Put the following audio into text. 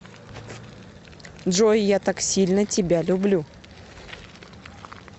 джой я так сильно тебя люблю